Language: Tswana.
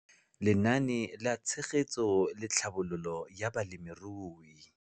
Lenaane la Tshegetso le Tlhabololo ya Balemirui